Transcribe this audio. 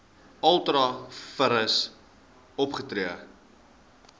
ultra vires opgetree